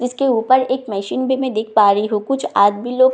इसके ऊपर एक मशीन भी मैं देख पा रही हूँ कुछ आदमी लोग साइकिल को लेके --